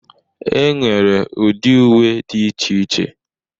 E nwere ụdị uwe dị iche iche.